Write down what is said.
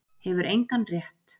Hefur engan rétt